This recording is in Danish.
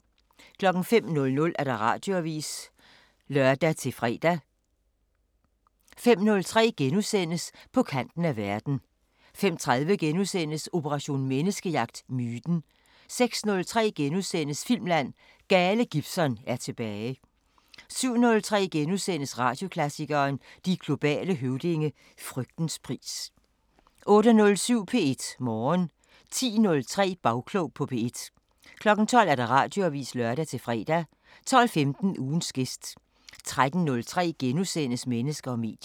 05:00: Radioavisen (lør-fre) 05:03: På kanten af verden * 05:30: Operation Menneskejagt: Myten * 06:03: Filmland: Gale Gibson er tilbage * 07:03: Radioklassikeren: De globale høvdinge – Frygtens pris * 08:07: P1 Morgen 10:03: Bagklog på P1 12:00: Radioavisen (lør-fre) 12:15: Ugens gæst 13:03: Mennesker og medier *